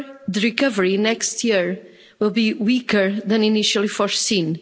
The recovery next year will be weaker than initially foreseen.